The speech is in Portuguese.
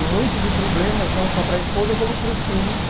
Um monte de problemas, não só para a esposa, como para os filhos.